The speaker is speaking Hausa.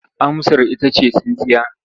Amsar ita ce tsintsiya.